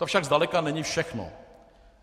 To však zdaleka není všechno.